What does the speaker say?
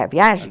A viagem?